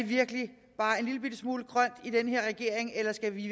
virkelig bare en lillebitte smule grøn i den her regering eller skal vi